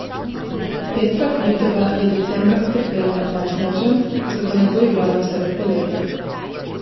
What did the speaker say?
Petra Kvitova je decembra utrpela napad z nožem, zato ne bo igrala vse do poletja.